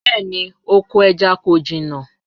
Bẹẹni, oko ẹja ko jina